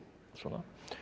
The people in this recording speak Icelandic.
svona